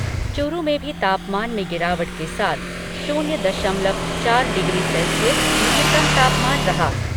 चूरू में भी तापमान में गिरावट के साथ शून्य दशमलव चार डिग्री सेल्सियस न्यूनतम तापमान रहा।